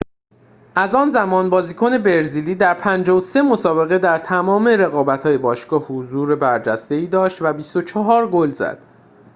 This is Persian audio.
از آن زمان بازیکن برزیلی در ۵۳ مسابقه در تمام رقابت‌های باشگاه حضور برجسته‌ای داشت و ۲۴ گل زد